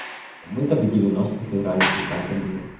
мы так в девяностых играли пиздато было